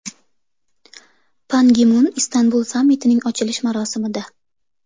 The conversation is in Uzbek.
Pan Gi Mun Istanbul sammitining ochilish marosimida.